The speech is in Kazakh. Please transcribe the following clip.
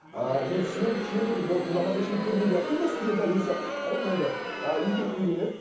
ыыы мен сүйемін күйемін деді болды бұдан басқа ешкімді көрмеймін деді қыз да студент дәл өзі сияқты әрине енді ы екеуі үйленеді